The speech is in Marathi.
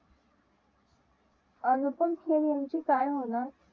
अनुपम खेर यांचे काय होणार